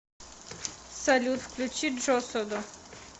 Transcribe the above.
салют включи джосодо